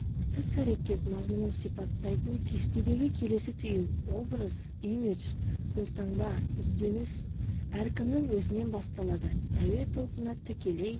іс-әрекет мазмұнын сипаттайтын кестедегі келесі түйін образ имидж қолтаңба ізденіс әркімнің өзінен басталады әуе толқыны тікелей